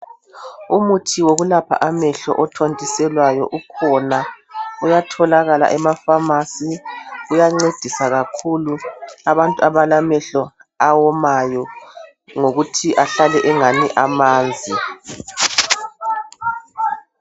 Umuthi wokwelapha amehlo othonyiselwayo ukhona uyatholakala emapharmacy , uyancedisa kakhulu abantu abalamehlo awomayo ngokuthi ahlale engani amanzi.